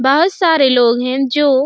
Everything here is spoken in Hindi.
बहुत सारे लोग है जो --